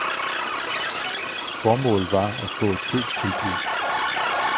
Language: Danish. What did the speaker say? Formålet var at få et købstilbud.